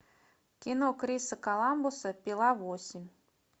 кино криса коламбуса пила восемь